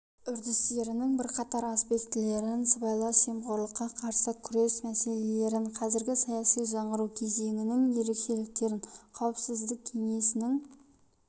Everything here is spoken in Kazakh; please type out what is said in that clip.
үдерісінің бірқатар аспектілерін сыбайлас жемқорлыққа қарсы күрес мәселелерін қазіргі саяси жаңғыру кезеңінің ерекшеліктерін қауіпсіздік кеңесінің